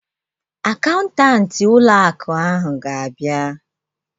Akaụntanti ụlọ akụ ahụ ga-abịa